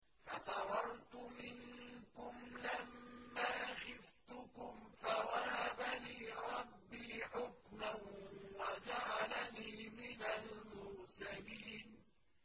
فَفَرَرْتُ مِنكُمْ لَمَّا خِفْتُكُمْ فَوَهَبَ لِي رَبِّي حُكْمًا وَجَعَلَنِي مِنَ الْمُرْسَلِينَ